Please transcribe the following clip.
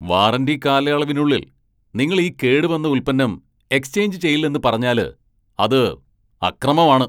Warranty കാലയളവിനുള്ളിൽ നിങ്ങൾ ഈ കേടുവന്ന ഉൽപ്പന്നം എക്സ്ചേഞ്ച് ചെയ്യില്ലെന്ന് പറഞ്ഞാല് അത് അക്രമമാണ്.